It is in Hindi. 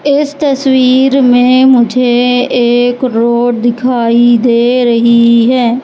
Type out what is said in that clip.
इस तस्वीर में मुझे एक रोड दिखाई दे रही है।